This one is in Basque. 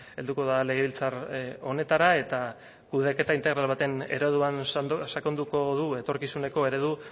helduko da legebiltzar honetara eta kudeaketa integral baten ereduan sakonduko du etorkizuneko eredu